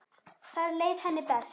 Þar leið henni best.